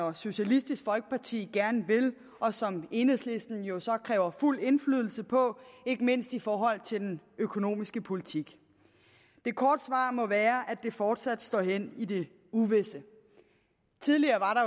og socialistisk folkeparti gerne vil og som enhedslisten jo så kræver fuld indflydelse på ikke mindst i forhold til den økonomiske politik det korte svar må være at det fortsat må stå hen i det uvisse tidligere